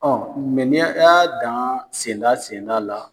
n'i y'a dan senda senda la.